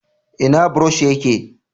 ina burosh ya ke?